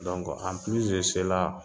Dɔnku anpilisi de sela